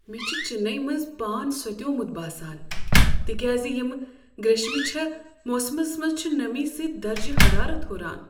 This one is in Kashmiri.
مےٚ چھُ چننے منز پان سۄتیومت باسان تکیاز ییمہ گریشمہ چھےٚ موسمس منٛز چھُ نمی سۭتۍ درجہ حرارت ہران۔